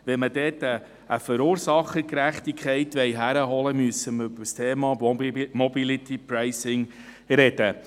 Wenn wir dort eine Verursachergerechtigkeit hinkriegen wollen, müssen wir über das Thema MobilityPricing sprechen.